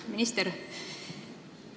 Hea minister!